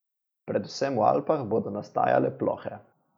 Predvsem v Alpah bodo nastajale plohe.